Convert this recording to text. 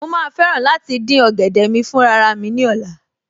Mo ma fẹ́ràn láti dín ọ̀gẹ̀dẹ̀ mi fún raramí ní ọ̀la